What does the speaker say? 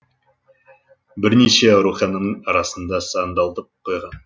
бірнеше аурухананың арасында сандалтып қойған